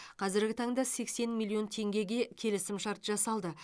қазіргі таңда сексен миллион теңгеге келісімшарт жасалды